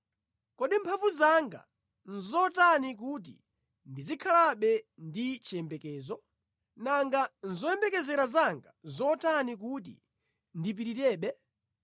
“Kodi mphamvu zanga nʼzotani kuti ndizikhalabe ndi chiyembekezo? Nanga zoyembekezera zanga nʼzotani kuti ndipirirebe?